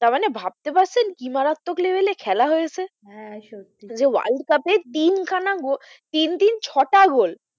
তার মানে ভাবতে পারছেন কি মারাত্মক level এ খেলা হয়েছে হ্যাঁ সত্যি যে world cup এ তিন খানা গোল তিন-তিন ছটা গোল,